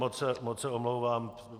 Moc se omlouvám.